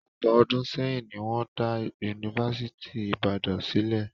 Ọ̀pọ̀ ọdún sẹ́yìn ni wọ́n dá Yunifásítì Ìbàdàn sílẹ̀